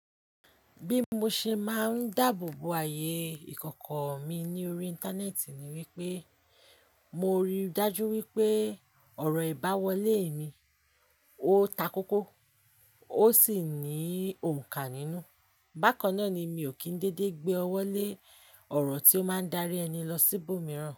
Bí mo ṣe máa ń dáàbò bo ààyè ìkọ̀kọ̀ mi ní orí Íńtánẹ́ẹ̀tì ni wípé mo rí i dájú wípé ọ̀rọ̀ ìbá wọlé mi, ó ta kókó ó sì ní òǹkà nínú. Bákan náà ni mi ò kí ń dédé gbé ọwọ́ lé ọ̀rọ̀ tí ó máa ń dárí ẹni lọ sí ibòmíràn.